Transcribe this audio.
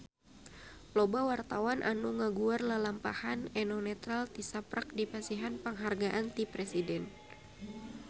Loba wartawan anu ngaguar lalampahan Eno Netral tisaprak dipasihan panghargaan ti Presiden